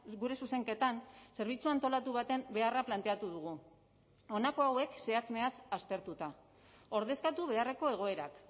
gure zuzenketan zerbitzu antolatu baten beharra planteatu dugu honako hauek zehatz mehatz aztertuta ordezkatu beharreko egoerak